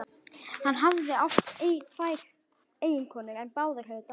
Hann hafði átt tvær eiginkonur en báðar höfðu dáið.